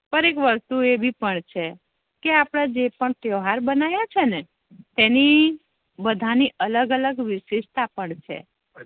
પણ એક વસ્તુ એવી પણ છે કે અપેડા જે પણ તેહવાર બનાવ્યા છે ને તેની બેધા ની અલગ અલગ વિસીસ્તા પણ છે